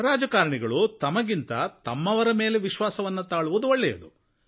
ರಾಜಕಾರಣಿಗಳು ತಮಗಿಂತ ಹೆಚ್ಚಾಗಿ ತಮ್ಮವರ ಮೇಲೆ ವಿಶ್ವಾಸವನ್ನು ತಾಳುವುದು ಒಳ್ಳೆಯದು